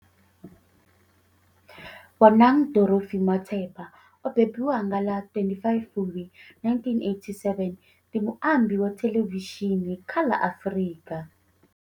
Bonang Dorothy Matheba o bebiwa nga ḽa 25 Fulwi 1987, ndi muambi wa thelevishini kha la Afrika.